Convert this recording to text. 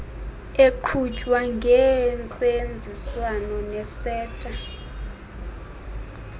eqhutywa ngentseenziswano neseta